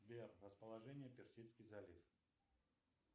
сбер расположение персидский залив